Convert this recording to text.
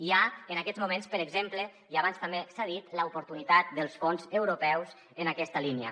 hi ha en aquests moments per exemple i abans també s’ha dit l’oportunitat dels fons europeus en aquesta línia